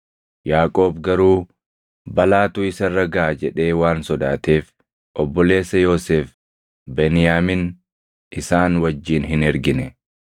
Yaaqoob garuu balaatu isa irra gaʼa jedhee waan sodaateef obboleessa Yoosef Beniyaamin isaan wajjin hin ergine.